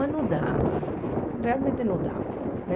Mas não dava, realmente não dava né.